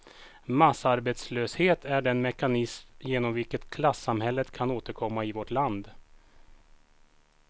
Massarbetslöshet är den mekanism genom vilken klassamhället kan återkomma i vårt land.